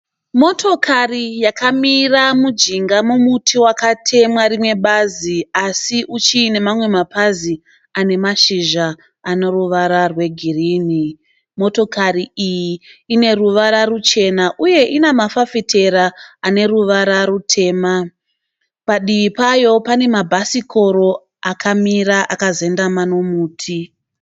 Motokari yakamira mujinga momuti wakatemwa rimwe bazi asi uchine mamwe mapazi ane mahizha ane ruwara rwegirini. Motokari iyi ine ruwara ruchena uye ina mafafitera ane ruwara rutema, padivi payo pane mabhasikoro akamira akazendama nomuti.